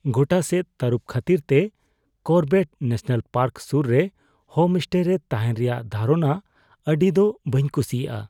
ᱜᱚᱴᱟ ᱥᱮᱫ ᱛᱟᱹᱨᱩᱵᱽ ᱠᱷᱟᱹᱛᱤᱨᱛᱮ ᱠᱚᱨᱵᱮᱴ ᱱᱮᱥᱚᱱᱟᱞ ᱯᱟᱨᱠ ᱥᱩᱨ ᱨᱮ ᱦᱳᱢᱮᱥᱴᱮ ᱨᱮ ᱛᱟᱦᱮᱱ ᱨᱮᱭᱟᱜ ᱫᱷᱟᱨᱚᱱᱟ ᱟᱹᱰᱤ ᱫᱚ ᱵᱟᱹᱧ ᱠᱩᱥᱤᱭᱟᱜᱼᱟ ᱾